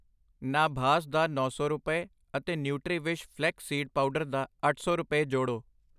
ਨਾਭਾਸ ਦਾ ਨੌਂ ਸੌ ਰੁਪਏ ਅਤੇ ਨੂੰਟਰੀਵਿਸ਼ ਫਲੈਕਸ ਸੀਡ ਪਾਊਡਰ ਦਾ ਅੱਠ ਸੌ ਰੁਪਏ ਜੋੜੋ।